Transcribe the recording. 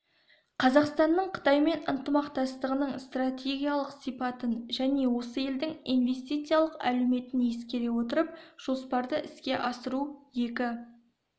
қазақстанның қытаймен ынтымақтастығының стратегиялық сипатын және осы елдің инвестициялық әлеуетін ескере отырып жоспарды іске асыру екі